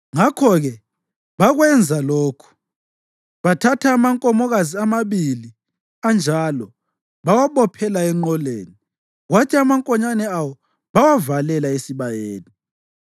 Ngakho-ke bakwenza lokhu. Bathatha amankomokazi amabili anjalo bawabophela enqoleni kwathi amankonyane awo bawavalela esibayeni.